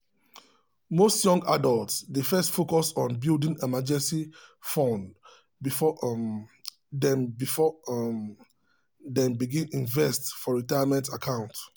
most young adults dey first focus on building emergency fund before um dem before um dem begin invest for retirement account.